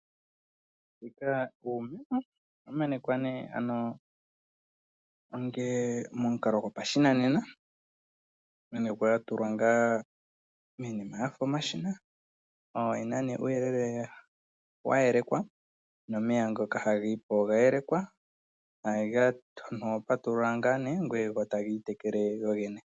Uumeno ohawu menekwa ngele omomukalo gopashinanena, hayi menekwa ya tulwa miinima ya fa omashina. Oge na uuyelele wa yelekwa nomeya ngoka haga yi po oga yeleka. Omuntu oho patulula ko owala go taga itekele gogene.